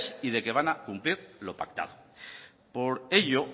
y de que van a cumplir lo pactado por ello